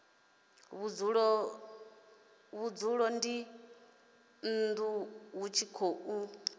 vhudzulo dzinnu hu tshi khou